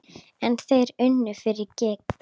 En þeir unnu fyrir gýg.